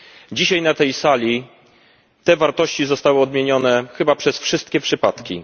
Dzisiaj na tej sali te wartości zostały odmienione chyba przez wszystkie przypadki.